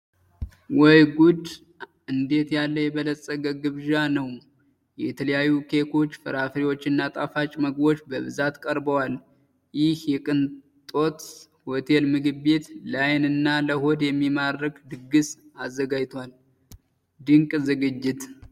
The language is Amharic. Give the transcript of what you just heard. ወይ ጉድ! እንዴት ያለ የበለጸገ ግብዣ ነው! የተለያዩ ኬኮች፣ ፍራፍሬዎችና ጣፋጭ ምግቦች በብዛት ቀርበዋል! ይህ የቅንጦት ሆቴል ምግብ ቤት፣ ለዓይን እና ለሆድ የሚማርክ ድግስ አዘጋጅቷል! ድንቅ ዝግጅት!